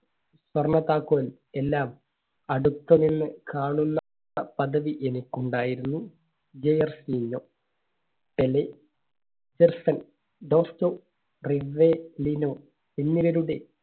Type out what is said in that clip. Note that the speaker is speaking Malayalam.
സ്വർണ്ണ താക്കോൽ എല്ലാം അടുത്ത് നിന്ന് കാണുന്ന പ~പദവി എനിക്കുണ്ടായിരുന്നു. ജേർസിഞ്ഞോ, പെലെ, റിവെ~ല്ലിനോ എന്നിവരുടെ